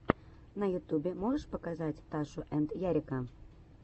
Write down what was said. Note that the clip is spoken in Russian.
на ютубе можешь показать ташу энд ярика